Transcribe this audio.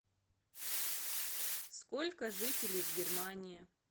сколько жителей в германии